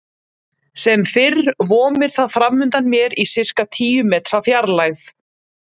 Sem fyrr vomir það framundan mér í sirka tíu metra fjarlægð.